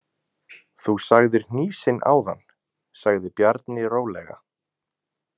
Þú sagðir hnýsin áðan, sagði Bjarni rólega.